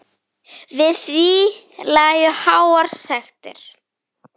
Við því lægju háar sektir.